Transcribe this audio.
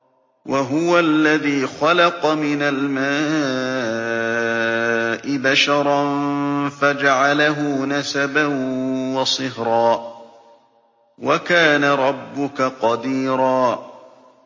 وَهُوَ الَّذِي خَلَقَ مِنَ الْمَاءِ بَشَرًا فَجَعَلَهُ نَسَبًا وَصِهْرًا ۗ وَكَانَ رَبُّكَ قَدِيرًا